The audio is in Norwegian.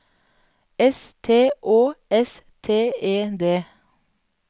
S T Å S T E D